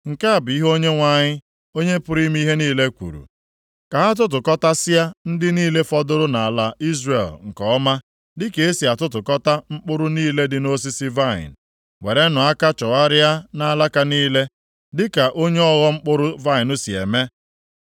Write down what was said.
Nke a bụ ihe Onyenwe anyị, Onye pụrụ ime ihe niile kwuru, “Ka ha tụtụkọtasịa ndị niile fọdụrụ nʼala Izrel nke ọma, dịka e si atụtụkọta mkpụrụ niile dị nʼosisi vaịnị; werenụ aka chọgharịa nʼalaka niile, dịka onye ọghọ mkpụrụ vaịnị si eme.”